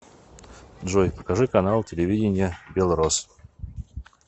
джой покажи канал телевидения белрос